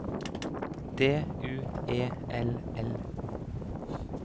D U E L L